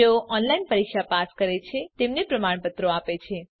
જેઓ ઓનલાઈન પરીક્ષા પાસ કરે છે તેમને પ્રમાણપત્રો આપે છે